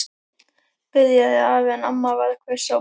byrjaði afi en amma varð hvöss á brún.